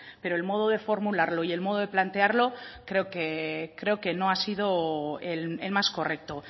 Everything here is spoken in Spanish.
pero el modo de formularlo y el modo de plantearlo creo que no ha sido el más correcto